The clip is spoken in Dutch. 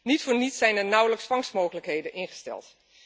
Niet voor niets zijn er nauwelijks vangstmogelijkheden ingesteld.